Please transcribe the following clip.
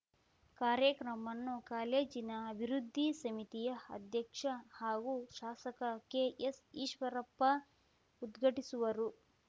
ಕಾರ್ಯಕ್ರಮವನ್ನು ಕಾಲೇಜಿನ ಅಭಿವೃದ್ಧಿ ಸಮಿತಿಯ ಅಧ್ಯಕ್ಷ ಹಾಗೂ ಶಾಸಕ ಕೆಎಸ್‌ಈಶ್ವರಪ್ಪ ಉದ್ಘಾಟಿಸುವರು